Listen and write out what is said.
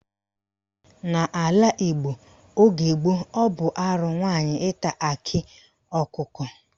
N'ala Igbo oge gboo, ọ bụ arụ nwaanyị ịta akị ọkụkọ.